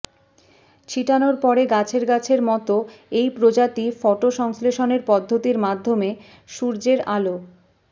ছিটানোর পরে গাছের গাছের মতো এই প্রজাতি ফটো সংশ্লেষণের পদ্ধতির মাধ্যমে সূর্যের আলো